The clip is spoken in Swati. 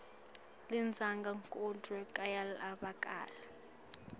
lizinga kodvwa kuyevakala